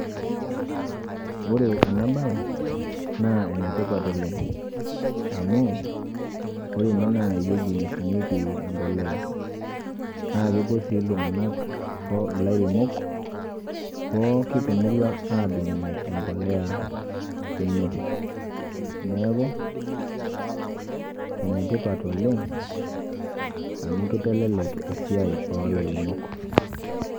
Ore ena baye naa ene tipat oleng' amu ore ene naa ewueji neshumieki embolea naake epuo sii iltung'anak ilairemok pookin te murua aadumunye embolea ene. Neeku ene tipat oleng' amu kitelelek esiai o lairemok.